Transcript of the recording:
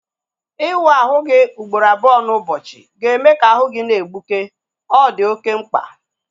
Iwu ahụ gị ugboro abụọ n'ụbọchị ga-eme ka ahu gị na-egbuke. Ọ di oké mkpa